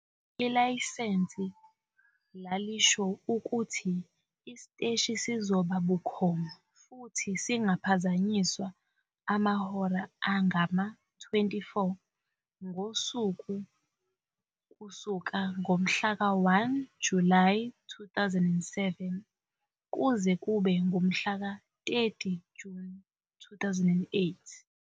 Ilayisensi lalisho ukuthi isiteshi sizoba bukhoma futhi singaphazanyiswa amahora angama-24 ngosuku kusuka ngomhlaka 1 Julayi 2007 kuze kube ngumhla ka-30 Juni 2008.